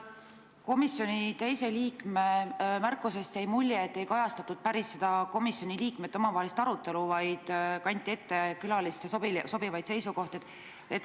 Komisjoni teise liikme märkusest jäi mulje, et ei kajastatud päris komisjoni liikmete omavahelist arutelu, vaid kanti ette külaliste sobivaid seisukohti.